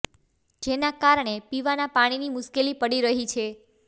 જેના કારણે પીવાના પાણીની મુશ્કેલી પડી રહી છે